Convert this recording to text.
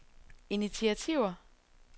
initiativer